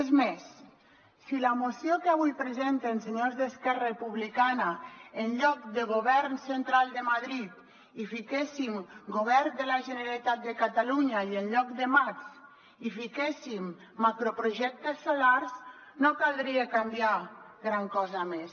és més si a la moció que avui presenten senyors d’esquerra republicana en lloc de govern central de madrid hi fiquéssim govern de la generalitat de catalunya i en lloc de mats hi fiquéssim macroprojectes solars no caldria canviar gran cosa més